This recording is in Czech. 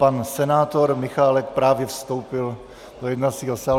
Pan senátor Michálek právě vstoupil do jednacího sálu.